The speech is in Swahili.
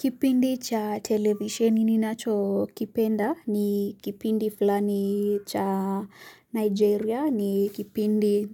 Kipindi cha television ninacho kipenda ni kipindi fulani cha Nigeria ni kipindi